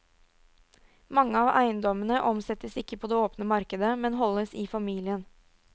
Mange av eiendommene omsettes ikke på det åpne markedet, men holdes i familien.